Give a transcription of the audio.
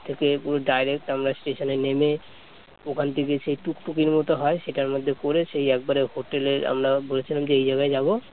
আমরা স্টেশন এ নেমে ওখান থেকে এসে এক টুটুকির মত হয় সেটার মধ্যে করে সেই একবারে হোটেলে আমরা বলেছিলাম যে এই জায়গায় যাব